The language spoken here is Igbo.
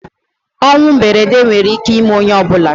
ọnwụ mberede nwere ike ime onye ọ bụla